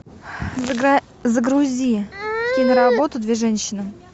загрузи киноработу две женщины